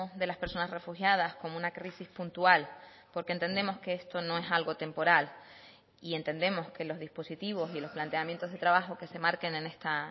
de las personas refugiadas como una crisis puntual porque entendemos que esto no es algo temporal y entendemos que los dispositivos y los planteamientos de trabajo que se marquen en esta